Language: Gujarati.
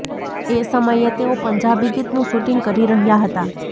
એ સમયે તેઓ પંજાબી ગીતનું શૂટિંગ કરી રહ્યાં હતા